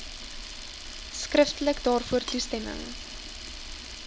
skriftelik daarvoor toestemming